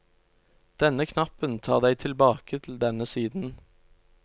Denne knappen tar deg tilbake til denne siden.